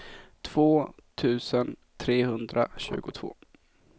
två tusen trehundratjugotvå